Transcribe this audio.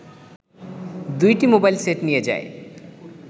২টি mobile set নিয়ে যায়